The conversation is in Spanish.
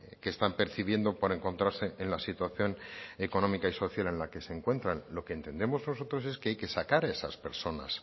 que están percibiendo por encontrarse en la situación económica y social en la que se encuentran lo que entendemos nosotros es que hay que sacar a esas personas